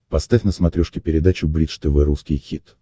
поставь на смотрешке передачу бридж тв русский хит